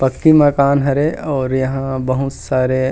पक्की मकान हरे और यहाँ बहुत सारे। --